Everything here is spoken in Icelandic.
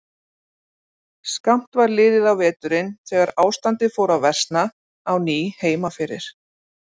Skammt var liðið á veturinn þegar ástandið fór að versna á ný heima fyrir.